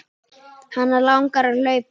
Hana langar að hlaupa.